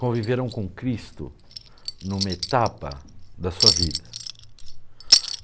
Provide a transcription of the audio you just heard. conviveram com Cristo em uma etapa da sua vida.